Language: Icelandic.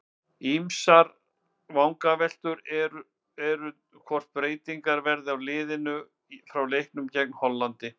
Ýmsar vangaveltur eru um hvort breytingar verði á liðinu frá leiknum gegn Hollandi.